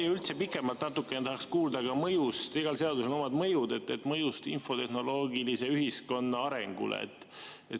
Ja üldse natukene pikemalt tahaks kuulda ka seaduse mõjust – igal seadusel on omad mõjud – infotehnoloogilise ühiskonna arengule.